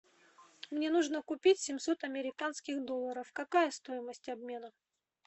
мне нужно купить семьсот американских долларов какая стоимость обмена